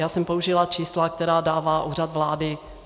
Já jsem použila čísla, která dává Úřad vlády.